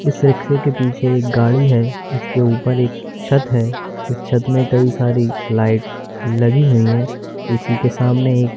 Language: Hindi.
इस रिक्शे के पीछे एक गाड़ी है इसके ऊपर एक छत है इस छत में कई सारी लाइट लगी हुई हैं उसी के सामने एक--